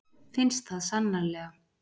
Finnst það sannarlega.